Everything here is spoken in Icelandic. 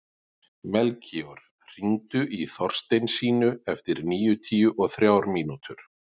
Melkíor, hringdu í Þorsteinsínu eftir níutíu og þrjár mínútur.